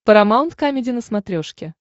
парамаунт камеди на смотрешке